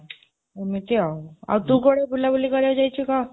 ଏମିତି ଆଉ.. ଆଉ ତୁ କୁଆଡ଼େ ବୁଲାବୁଲି କରିବାକୁ ଯାଇଛୁ, କହ।